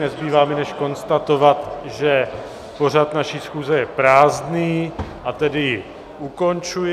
Nezbývá mi než konstatovat, že pořad naší schůze je prázdný, a tedy ji ukončuji.